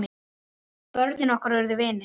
Börnin okkar urðu vinir.